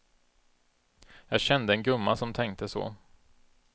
Jag kände en gumma som tänkte så.